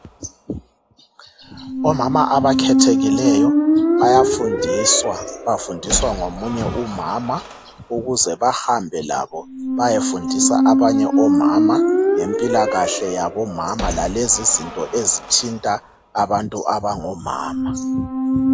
Omama abakhethekileyo bayafundiswa bafundiswa ngomunye umama ukuze bahambe labo bayefundisa abanye omama ngemikhuhlane yabomama lalezi izinto ezithinta abantu abangomama.